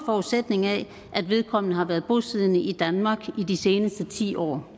forudsætning af at vedkommende har været bosiddende i danmark i de seneste ti år